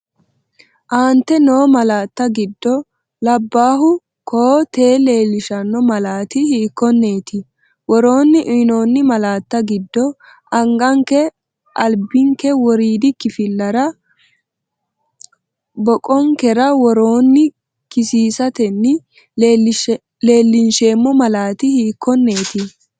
Aante noo malaatta giddo labbaahu koo-tee leellishanno malaati hiikkonneeti? Woroonni uyinoonni malaatta giddo anganke albinke woriidi kifilera boqonkera woroonni kisiisatenni leellinsheemmo malaati hiikkon- neeti?